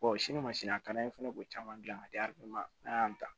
sini ma sini a ka d'an ye fana k'o caman gilan ka di n'a y'an ta